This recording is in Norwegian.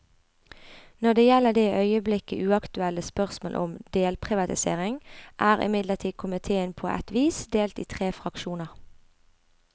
Når det gjelder det i øyeblikket uaktuelle spørsmål om delprivatisering, er imidlertid komitéen på et vis delt i tre fraksjoner.